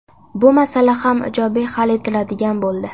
Bu masala ham ijobiy hal etiladigan bo‘ldi.